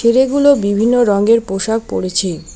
ছেলেগুলো বিভিন্ন রঙের পোশাক পড়েছে।